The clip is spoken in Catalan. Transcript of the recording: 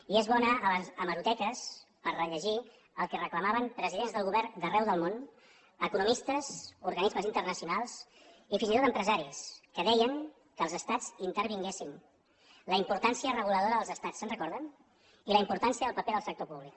i és bo anar a les hemeroteques per rellegir el que reclamaven presidents del govern d’arreu del món economistes organismes internacionals i fins i tot empresaris que deien que els estats hi intervinguessin la importància reguladora dels estats se’n recorden i la importància del paper del sector públic